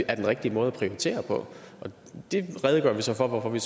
er den rigtige måde at prioritere på og det redegør vi så for hvorfor vi